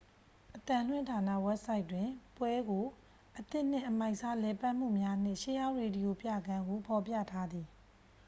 "အသံလွှင့်ဌာန ဝက်ဘ်ဆိုက်တွင် ပွဲကို "အသစ်နှင့် အမိုက်စား လည်ပတ်မှုများနှင့် ရှေးဟောင်း ရေဒီယို ပြခန်း""ဟု ဖော်ပြထားသည်။